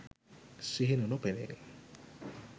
සිහින නොපෙනේ.